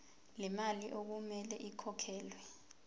lemali okumele ikhokhelwe